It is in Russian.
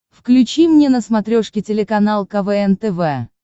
включи мне на смотрешке телеканал квн тв